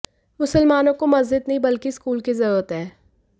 मुसलमानों को मस्जिद नहीं बल्कि स्कूल की ज़रूरत है